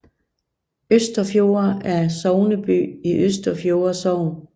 Østerfjolde er sogneby i Østerfjolde Sogn